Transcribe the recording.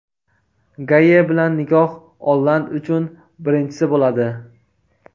Gayye bilan nikoh Olland uchun birinchisi bo‘ladi.